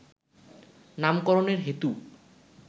নামকরণের হেতু